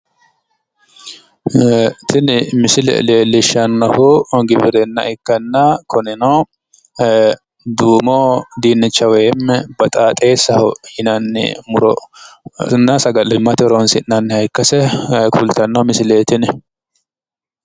ee tini misile leellishshannohu giwirinna ikkanna kunino duumo dinnicha woyi baxaaxeessaho yinanni murona sagalimmate horonsi'nanniha ikkase kultanno misileeti tini.